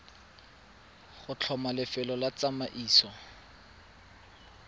go tlhoma lefelo la tsamaiso